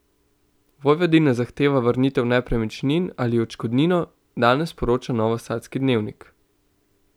Vojvodina zahteva vrnitev nepremičnin ali odškodnino, danes poroča novosadski Dnevnik.